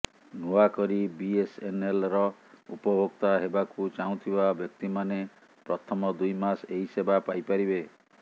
ନୂଆ କରି ବିଏସଏନଏଲର ଉପଭୋକ୍ତା ହେବାକୁ ଚାହୁଁଥିବା ବ୍ୟକ୍ତିମାନେ ପ୍ରଥମ ଦୁଇ ମାସ ଏହି ସେବା ପାଇପାରିବେ